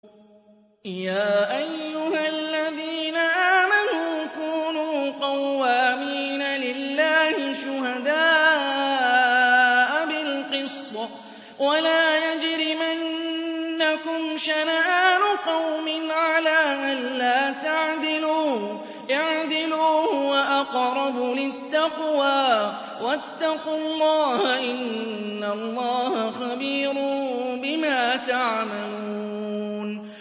يَا أَيُّهَا الَّذِينَ آمَنُوا كُونُوا قَوَّامِينَ لِلَّهِ شُهَدَاءَ بِالْقِسْطِ ۖ وَلَا يَجْرِمَنَّكُمْ شَنَآنُ قَوْمٍ عَلَىٰ أَلَّا تَعْدِلُوا ۚ اعْدِلُوا هُوَ أَقْرَبُ لِلتَّقْوَىٰ ۖ وَاتَّقُوا اللَّهَ ۚ إِنَّ اللَّهَ خَبِيرٌ بِمَا تَعْمَلُونَ